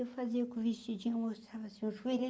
Eu fazia com o vestidinho mostrava, assim o joelho.